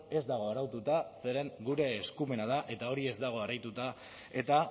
ez dago araututa zeren gure eskumena da eta hori ez dago araututa eta